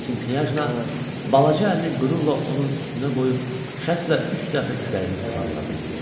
Lakin Knyajna balaca əlini qürurla onun üstünə qoyub, şəstlə üç dəfə kürəyini sığalladı.